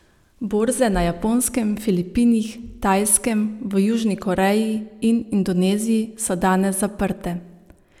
Borze na Japonskem, Filipinih, Tajskem, v Južni Koreji in Indoneziji so danes zaprte.